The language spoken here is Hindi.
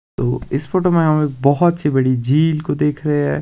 तो इस फोटो में हम एक बहोत सी बड़ी झील को देख रहे हैं।